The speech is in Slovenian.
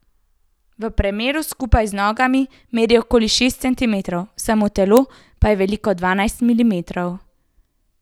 V premeru skupaj z nogami meri okoli šest centimetrov, samo telo pa je veliko dvanajst milimetrov.